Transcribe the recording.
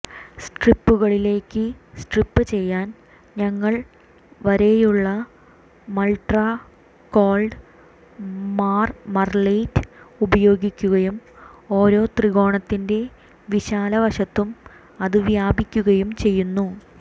സ്ട്രിപ്പുകളിലേക്ക് strip ചെയ്യാൻ ഞങ്ങൾ വരയുള്ള മൾട്ടക്കോൾഡ് മാർമറലേറ്റ് ഉപയോഗിക്കുകയും ഓരോ ത്രികോണത്തിന്റെ വിശാല വശത്തും അത് വ്യാപിക്കുകയും ചെയ്യുന്നു